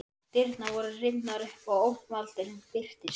Dyrnar voru rifnar upp og ógnvaldurinn birtist.